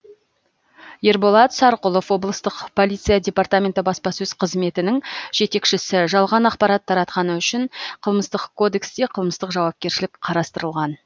ерболат сарқұлов облыстық полиция департаменті баспасөз қызметінің жетекшісі жалған ақпарат таратқаны үшін қылмыстық кодексте қылмыстық жауапкершілік қарастырылған